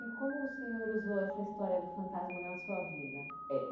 E como o senhor usou essa história do fantasma na sua vida?